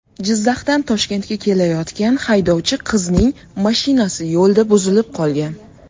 Jizzaxdan Toshkentga kelayotgan haydovchi qizning mashinasi yo‘lda buzilib qolgan.